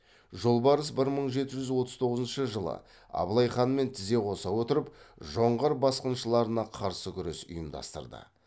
жолбарыс бір мың жеті жүз отыз тоғызыншы жылы абылай ханмен тізе қоса отырып жоңғар басқыншыларына қарсы күрес ұйымдастырды